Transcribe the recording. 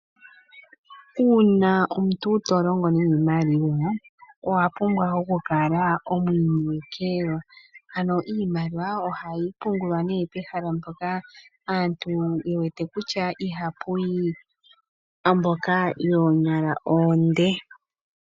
Uuna omuntu to longo niimaliwa, owa pumbwa okukala omwiinekelwa. Ano iimaliwa ohayi pungulwa nee pehala mpoka aantu ye wete kutya ihapuyi mboka yoonyala oonde.